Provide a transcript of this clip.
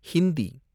Hindi